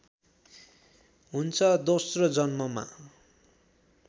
हुन्छ दोस्रो जन्ममा